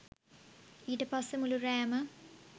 ඊට පස්සේ මුළු රෑම